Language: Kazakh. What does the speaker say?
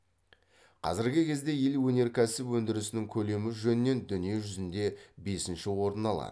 қазіргі кезде ел өнеркәсіп өндірісінің көлемі жөнінен дүние жүзінде бесінші орын алады